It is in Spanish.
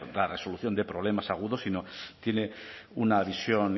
quiero decir dar resolución de problemas algunos si no tiene una visión